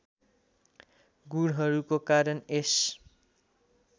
गुणहरूको कारण यस